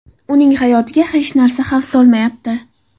Uning hayotiga hech narsa xavf solmayapti.